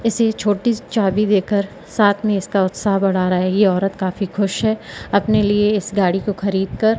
इसे छोटी सी चाबी दे कर साथ में इसका उत्साह बढ़ा रहा है ये औरत काफी खुश है अपने लिए इस गाड़ी को खरीद कर--